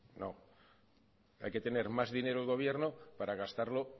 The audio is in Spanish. no no hay que tener más dinero en el gobierno para gastarlo